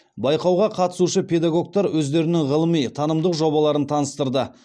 байқауға қатысушы педагогтар өздерінің ғылыми танымдық жобаларын таныстырды